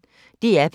DR P1